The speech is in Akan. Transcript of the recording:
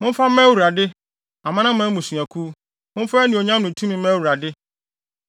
Momfa mma Awurade, Amanaman mmusuakuw, momfa anuonyam ne tumi mma Awurade.